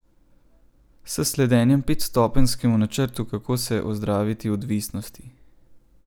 S sledenjem petstopenjskemu načrtu, kako se ozdraviti odvisnosti.